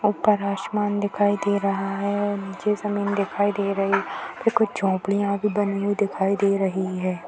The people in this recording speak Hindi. ऊपर आसमान दिखाई दे रहा है औ नीचे जमीन दिखाई दे रही फिर कुछ झोपडीयां भी बनी हुई दिखाई दे रही है।